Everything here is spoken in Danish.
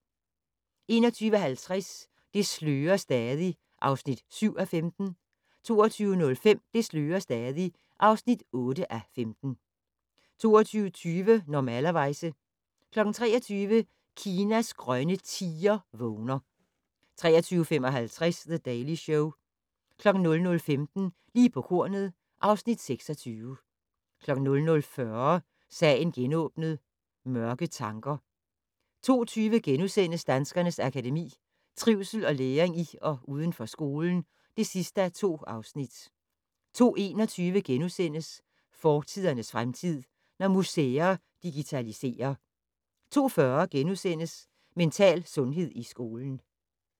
21:50: Det slører stadig (7:15) 22:05: Det slører stadig (8:15) 22:20: Normalerweize 23:00: Kinas grønne tiger vågner 23:55: The Daily Show 00:15: Lige på kornet (Afs. 26) 00:40: Sagen genåbnet: Mørke tanker 02:20: Danskernes Akademi: Trivsel og læring i og uden for skolen (2:2)* 02:21: Fortidernes fremtid: Når museer digitaliserer * 02:40: Mental sundhed i skolen *